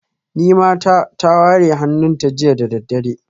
Nimata ta ware hannunta jiya da daddare